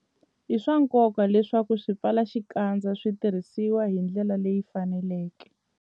I swa nkoka leswaku swipfalaxikandza swi tirhisiwa hi ndlela leyi faneleke.